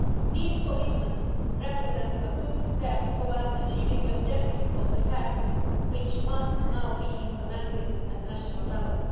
Those commitments are a good step towards achieving the objectives of the Pact, which must now be implemented at the national level.